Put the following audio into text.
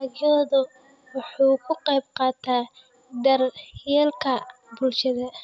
Dalaggoodu wuxuu ka qaybqaataa daryeelka bulshada.